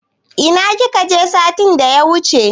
Ina kika je satin da ya wuche?